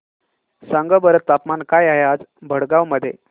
सांगा बरं तापमान काय आहे आज भडगांव मध्ये